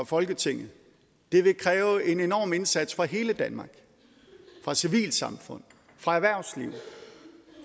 folketinget det vil kræve en enorm indsats fra hele danmark fra civilsamfundet fra erhvervslivet